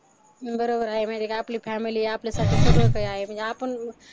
बरोबर आहे माहिती आहे का आपली फॅमिली आपल्यासाठी सगळं काही आहे म्हणजे आपण